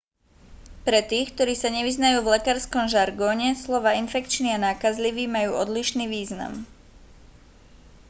pre tých ktorí sa nevyznajú v lekárskom žargóne slová infekčný a nákazlivý majú odlišný význam